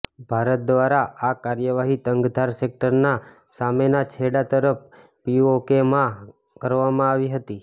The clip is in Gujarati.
ભારત દ્વારા આ કાર્યવાહી તંગધાર સેક્ટરના સામેના છેડા તરફ પીઓકેમાં કરવામાં આવી હતી